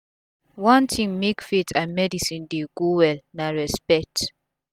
watin make faith and medicine dey go well na respect